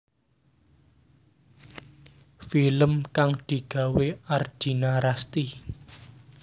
Film kang digawé Ardina Rasti